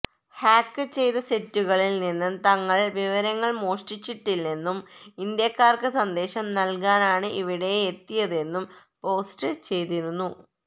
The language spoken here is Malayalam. ഹാക്ക് ചെയ്ത സൈറ്റുകളില് നിന്ന് തങ്ങള് വിവരങ്ങള് മോഷ്ടിച്ചിട്ടില്ലെന്നും ഇന്ത്യക്കാര്ക്ക് സന്ദേശം നല്കാനാണ് ഇവിടെയെത്തിയതെന്നും പോസ്റ്റ് ചെയ്തിരുന്നു